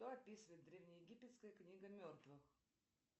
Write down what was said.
что описывает древнеегипетская книга мертвых